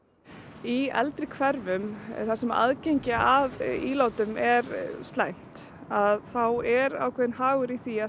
í eldri hverfum þar sem aðgengi að ílátum er slæmt þá er ákveðinn hagur í því að